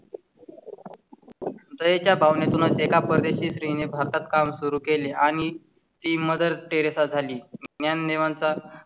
दयेच्या भावनेतूनच एका परदेशी श्री ने भारतात काम सुरू केले आणि ती मदर टेरेसा झाली. या नियमांचा.